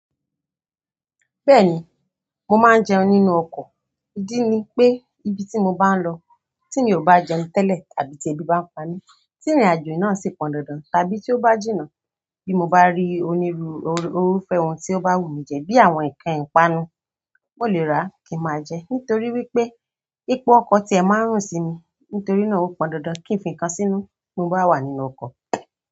Bẹ́ẹ̀ni, mo máa ń jẹun nínú ọkọ̀. Idí ní pé íbi tí mo bá n lọ tí mi ò bá jẹun tẹ́lẹ̀ àbí tí ebí bá ń pa mí, tí ìrìnàjò náà sì pọn dandan àbí tí ó bá jìnnà bí mo bá rí onírúurú irúfẹ́ ohun tí ó bá wù mí jẹ bi àwọn ǹkan ìpanu, mo lè rà kí n máa jẹ nítorí wípé ipò ọkọ̀ ti ẹ máa ń rùn sí mi nítorí náà ó pọn dandan kí ń fi ǹkan sínú tí mo bá wà nínú ọkọ̀.